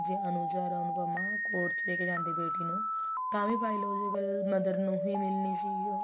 ਜੇ ਅਨੁਜ ਅਰ ਅਨੁਪਮਾ court ਚ ਲੈਕੇ ਜਾਂਦੇ ਬੇਟੀ ਨੂੰ ਤਾਂ ਵੀ biological mother ਨੂੰ ਹੀ ਮਿਲਣੀ ਸੀ ਉਹ